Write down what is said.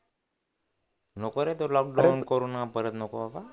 नको रे तो लॉकडाउन परत नको बाबा